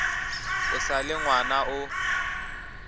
o sa le ngwana o